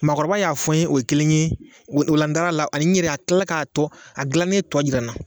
Maakɔrɔba y'a fɔ n ye o ye kelen ye, o la n darala, ani n ɲɛrɛ, a kilala k'a tɔ a dilannen tɔ jira n na.